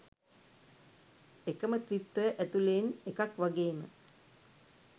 එකම ත්‍රිත්වය ඇතුළේ න් එකක් වගේම